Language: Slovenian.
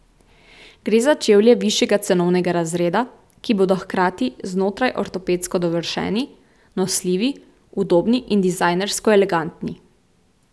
Gre za čevlje višjega cenovnega razreda, ki bodo hkrati znotraj ortopedsko dovršeni, nosljivi, udobni in dizajnersko elegantni.